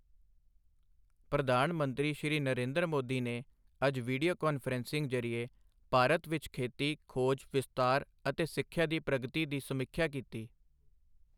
ਪ੍ਰਧਾਨ ਮੰਤਰੀ ਸ਼੍ਰੀ ਨਰੇਂਦਰ ਮੋਦੀ ਨੇ ਅੱਜ ਵੀਡਿਓ ਕਾਨਫਰੰਸਿੰਗ ਜ਼ਰੀਏ ਭਾਰਤ ਵਿੱਚਖੇਤੀ ਖੋਜ, ਵਿਸਤਾਰ ਅਤੇ ਸਿੱਖਿਆ ਦੀ ਪ੍ਰਗਤੀ ਦੀ ਸਮੀਖਿਆ ਕੀਤੀ।